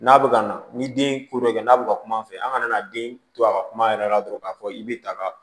N'a bɛ ka na ni den ko dɔ ye n'a bɛ ka kuma fɛ an ka na den to a ka kuma yɛrɛ la dɔrɔn k'a fɔ i bɛ ta ka